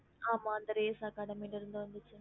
okay